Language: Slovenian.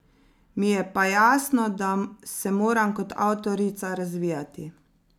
Mi je pa jasno, da se moram kot avtorica razvijati.